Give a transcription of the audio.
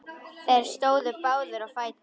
Þeir stóðu báðir á fætur.